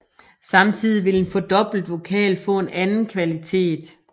Samtidig vil en fordoblet vokal få en anden kvalitet